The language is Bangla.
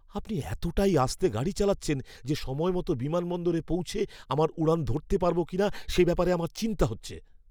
আপনি এতটাই আস্তে গাড়ি চালাচ্ছেন যে সময়মতো বিমানবন্দরে পৌঁছে আমার উড়ান ধরতে পারবো কিনা সে ব্যাপারে চিন্তা হচ্ছে।